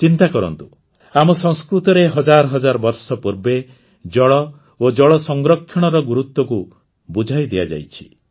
ଚିନ୍ତାକରନ୍ତୁ ଆମ ସଂସ୍କୃତିରେ ହଜାର ହଜାର ବର୍ଷ ପୂର୍ବେ ଜଳ ଓ ଜଳ ସଂରକ୍ଷଣର ଗୁରୁତ୍ୱକୁ ବୁଝାଇ ଦିଆଯାଇଛି